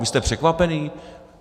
Vy jste překvapený?